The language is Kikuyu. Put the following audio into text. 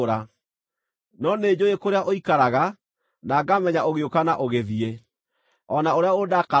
“ ‘No nĩnjũũĩ kũrĩa ũikaraga, na ngamenya ũgĩũka na ũgĩthiĩ, o na ũrĩa ũndakaragĩra.